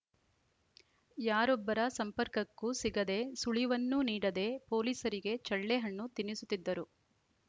ಯಾರೊಬ್ಬರ ಸಂಪರ್ಕಕಕ್ಕೂ ಸಿಗದೆ ಸುಳಿವನ್ನೂ ನೀಡದೆ ಪೊಲೀಸರಿಗೆ ಚಳ್ಳೆ ಹಣ್ಣು ತಿನ್ನಿಸುತ್ತಿದ್ದರು